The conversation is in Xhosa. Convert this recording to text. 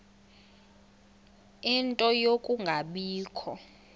ie nto yokungabikho